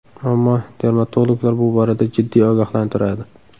Ammo dermatologlar bu borada jiddiy ogohlantiradi.